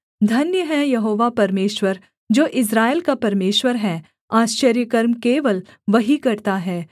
धन्य है यहोवा परमेश्वर जो इस्राएल का परमेश्वर है आश्चर्यकर्म केवल वही करता है